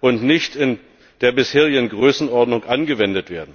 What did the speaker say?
und nicht in der bisherigen Größenordnung angewendet werden.